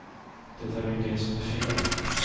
Det är ju det som är fel.